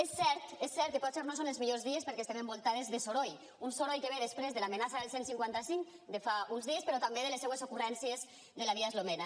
és cert que potser no són els millors dies perquè estem envoltades de soroll un soroll que ve després de l’amenaça del cent i cinquanta cinc de fa uns dies però també de les seues ocurrències de la via eslovena